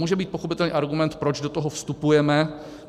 Může být pochopitelně argument, proč do toho vstupujeme.